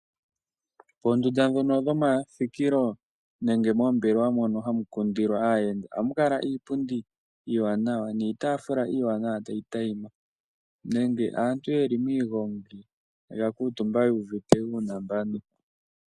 Moondunda dhomathikilo nenge moombelewa mono hamu kundilwa aayenda ohamu kala iipundi niitaafula iiwanawa tayi tayima. Uuna aantu yeli miigongi oya kuutumba yuuvite uunambano.